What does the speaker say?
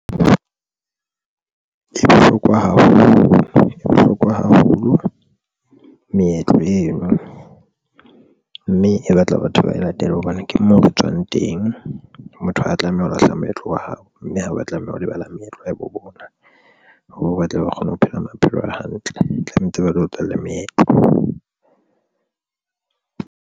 E bohlokwa haholo e bohlokwa haholo meetlo eno, mme e batla batho ba e latele hobane ke moo re tswang teng. Motho ha a tlameha ho lahla moetlo wa hao mme ha ba tlameha ho lebala meetlo ya bo bona, moo ba tle ba kgone ho phela maphelo a hantle, tlamehetse ba latele meetlo.